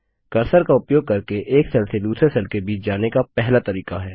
cursor का उपयोग करके एक सेल से दूसरे सेल के बीच जाने का पहला तरीका है